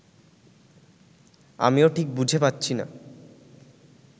আমিও ঠিক বুঝে পাচ্ছি না